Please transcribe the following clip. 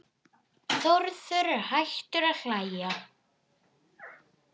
Þórður er hættur að hlæja.